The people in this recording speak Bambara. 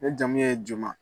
Ne jamu ye JOMA.